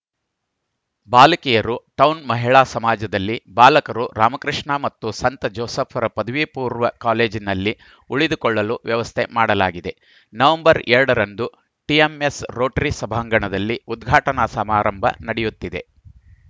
ಬಾಲಕಿಯರು ಟೌನ್‌ ಮಹಿಳಾ ಸಮಾಜದಲ್ಲಿ ಬಾಲಕರು ರಾಮಕೃಷ್ಣ ಮತ್ತು ಸಂತ ಜೋಸೆಫರ ಪದವಿಪೂರ್ವ ಕಾಲೇಜಿನಲ್ಲಿ ಉಳಿದುಕೊಳ್ಳಲು ವ್ಯವಸ್ಥೆ ಮಾಡಲಾಗಿದೆ ನವೆಂಬರ್ ಎರಡ ರಂದು ಟಿಎಂಎಸ್‌ ರೋಟರಿ ಸಭಾಂಗಣದಲ್ಲಿ ಉದ್ಘಾಟನಾ ಸಮಾರಂಭ ನಡೆಯುತ್ತಿದೆ